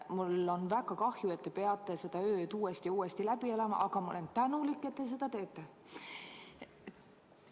Mul on väga kahju, et te peate seda ööd uuesti ja uuesti läbi elama, aga ma olen tänulik, et te seda teete.